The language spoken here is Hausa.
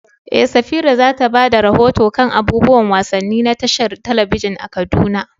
Eh, Safira za ta ba da rahoto kan abubuwan wasanni na tashar talabijin a Kaduna.